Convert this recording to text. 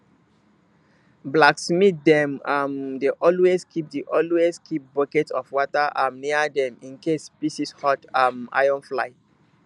blacksmith dem um dey always keep dey always keep bucket of water um near dem incase pieces hot um iron fly